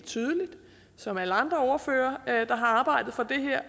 tydeligt som alle andre ordførere der har arbejdet for det her